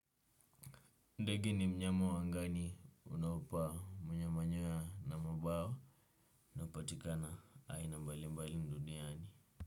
Ndege ni mnyama wa angani unaopaa mwenye manyoya na mabawa. Napatikana aina mbali mbali duniani.